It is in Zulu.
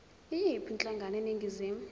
yiyiphi inhlangano eningizimu